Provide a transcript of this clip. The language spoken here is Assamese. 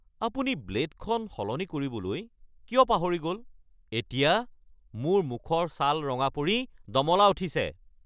আপুনি ব্লে'ডখন সলনি কৰিবলৈ কিয় পাহৰি গ'ল? এতিয়া মোৰ মুখৰ ছাল ৰঙা পৰি দমলা উঠিছে!